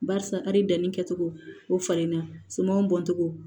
Barisa ali danni kɛcogo o falenna sumanw bɔncogo